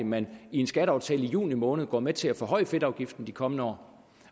man i en skatteaftale i juni måned går med til at forhøje fedtafgiften i de kommende år